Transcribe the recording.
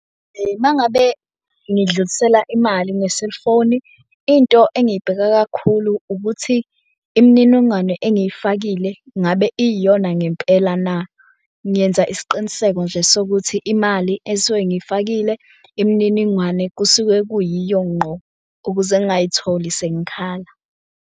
Uma ngabe ngidlulisela imali nge-cellphone-i, into engiyibhekayo kakhulu ukuthi imininingwane engiyifakile ngabe iyiyona ngempela na. Ngenza isiqiniseko nje sokuthi imali esuke ngiyifakile imininingwane kusuke kuyiyo ngqo ukuze ngingayitholi sengikhala.